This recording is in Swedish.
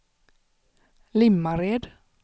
Limmared